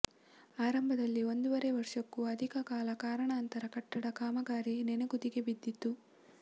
ಆರಂಭದಲ್ಲಿ ಒಂದೂವರೆ ವರ್ಷಕ್ಕೂ ಅಧಿಕ ಕಾಲ ಕಾರಣಾಂತರ ಕಟ್ಟಡ ಕಾಮಗಾರಿ ನೆನಗುದಿಗೆ ಬಿದ್ದತ್ತು